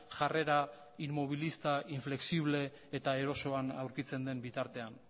jarrera inmobilista inflexible eta erosoan aurkitzen den bitartean